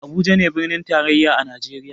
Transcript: Abuja ne birnin tarayya a najeriya